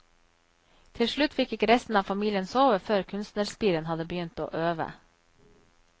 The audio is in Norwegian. Til slutt fikk ikke resten av familien sove før kunstnerspiren hadde begynt å øve.